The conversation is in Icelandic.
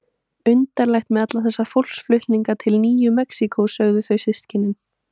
Undarlegt með alla þess fólksflutninga til Nýju Mexíkó, sögðu þá systkinin.